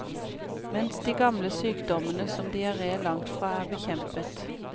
Mens de gamle sykdommene, som diaré, langt fra er bekjempet.